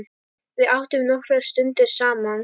Við áttum nokkrar stundir saman.